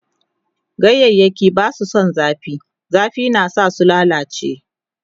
ganyayaki Basu San zafi, zafi na sa su lallace